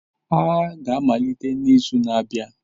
Agha ga-amalite n'izu na-abịa.